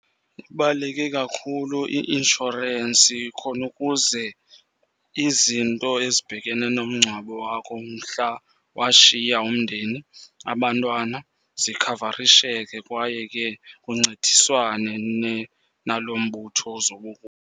Ibaluleke kakhulu i-inshorensi khona ukuze izinto ezibhekene nomngcwabo wakho mhla washiya umndeni, abantwana zikhavarisheke. Kwaye ke kuncediswane nalo mbutho .